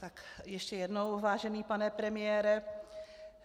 Tak ještě jednou, vážený pane premiére.